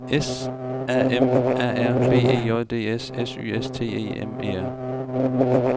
S A M A R B E J D S S Y S T E M E R